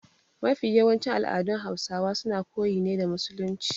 Mafi yawancin al'adun Hausawa suna koyi ne da musulunci.